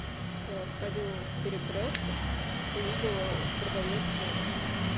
я вот сходила в перекрёсток увидела продаётся